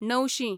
णवशीं